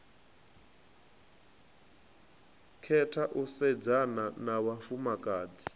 khetha u sedzana na vhafumakadzi